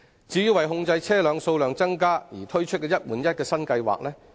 政府為控制車輛數量，推出了"一換一"新計劃。